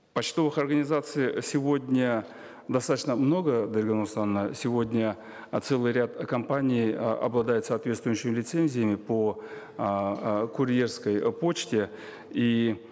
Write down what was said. почтовых организаций сегодня достаточно много дарига нурсултановна сегодня э целый ряд компаний э обладает соответствующими лицензиями по эээ курьерской почте и